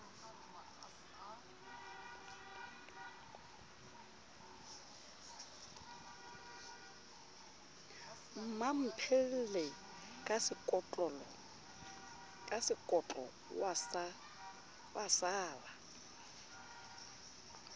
mmamphele ka sekotlo wa sala